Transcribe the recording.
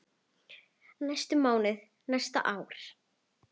næstu mánuði, næstu ár.